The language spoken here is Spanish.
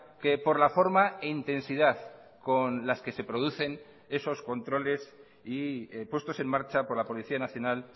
que por la forma e intensidad con las que se producen esos controles y puestos en marcha por la policía nacional